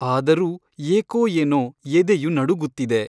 ಆದರೂ ಏಕೋ ಏನೋ ಎದೆಯು ನಡುಗುತ್ತಿದೆ.